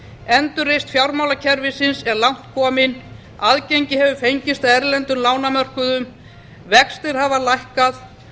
endurreisn fjármálakerfisins er langt komin aðgengi hefur fengist að erlendum lánamörkuðum vextir hafa lækkað